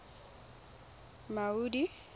maudi